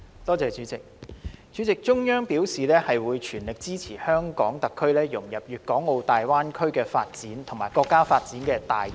代理主席，中央表示全力支持香港特區融入粵港澳大灣區發展及國家發展大局。